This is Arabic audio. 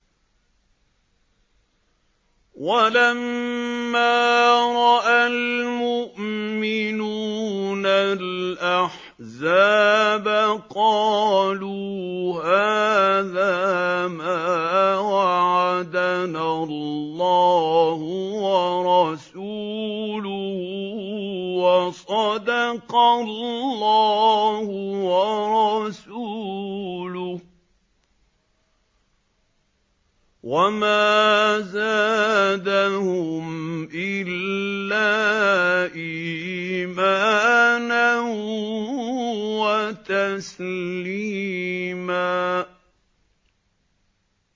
وَلَمَّا رَأَى الْمُؤْمِنُونَ الْأَحْزَابَ قَالُوا هَٰذَا مَا وَعَدَنَا اللَّهُ وَرَسُولُهُ وَصَدَقَ اللَّهُ وَرَسُولُهُ ۚ وَمَا زَادَهُمْ إِلَّا إِيمَانًا وَتَسْلِيمًا